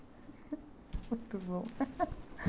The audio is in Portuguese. Muito bom.